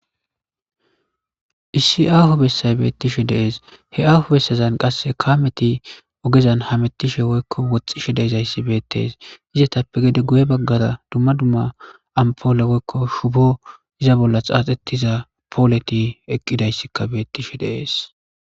issi aaho bessay beettishe de7ees he aaho bessazan qasse kaameti ogezan hamettishe woykko woxxishe deezayssi beettees izetappe gede guye baggara dumma dumma ampoole woykko shubo iza bolla xaaxettiza pooleti eqqidayssikka beettishe de7ees